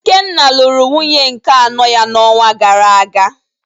Ikenna lụrụ nwunye nke anọ ya n’ọnwa gara aga